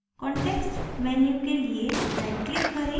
context menu के लिए right click करें